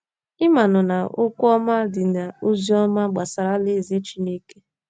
Ị manụ na “ okwu ọma ” dị n’ozi ọma gbasara Alaeze Chineke.